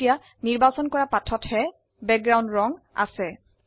এতিয়া নিৰ্বাচিত লৰা পৃষ্ঠাতহে বেগগ্ৰাওন্দ ৰঙ আছে